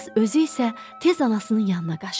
Qız özü isə tez anasının yanına qaçdı.